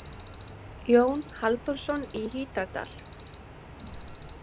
Jón Halldórsson í Hítardal.